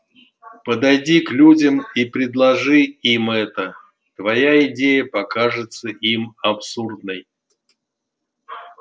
подойди к людям и предложи им это твоя идея покажется им абсурдной